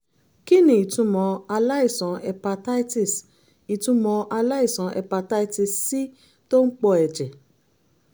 kí ni ìtumọ̀ aláìsàn hepatitis ìtumọ̀ aláìsàn hepatitis c tó ń pọ ẹ̀jẹ̀?